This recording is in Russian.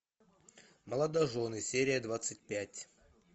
молодожены серия двадцать пять